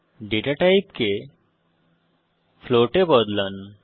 data টাইপকে float এ বদলান